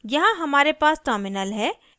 यहाँ हमारे पास terminal है